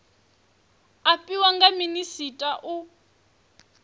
a fhiwa nga minisita u